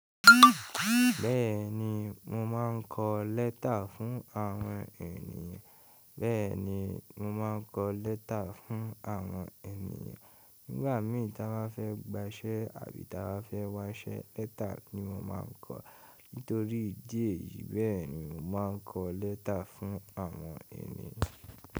Bẹ́ẹ̀ni, mo máa ń kọ lẹ́tà fún àwọn ènìyàn. Bẹ́ẹ̀ni, mo máa ń kọ lẹ́tà fún àwọn ènìyàn. Nígbà mī ta bá fẹ́ gbaṣẹ́ àbí ta bá fẹ́ waṣẹ́ lẹ́tà ni mo máa ń kọ. Nítorí ìdí èyí bẹ́ẹ̀ ni mo máa ń kọ lẹ́tà fún àwọn ènìyàn.